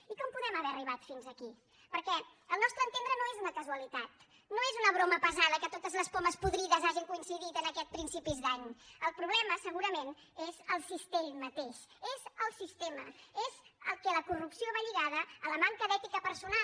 i com podem haver arribat fins aquí perquè al nostre entendre no és una casualitat no és una broma pesada que totes les pomes podrides hagin coincidit en aquests principis d’any el problema segurament és el cistell mateix és el sistema és que la corrupció va lligada a la manca d’ètica personal